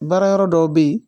Baara yɔrɔ dɔw bɛ yen